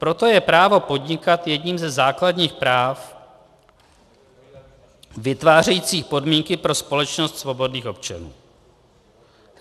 Proto je právo podnikat jedním ze základních práv vytvářejících podmínky pro společnost svobodných občanů.